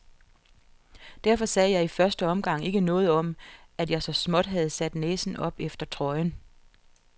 Derfor sagde jeg i første omgang ikke noget om, at jeg så småt havde sat næsen op efter trøjen.